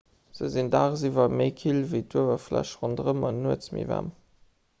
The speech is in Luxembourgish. se sinn daagsiwwer méi kill ewéi d'uewerfläch ronderëm an nuets méi waarm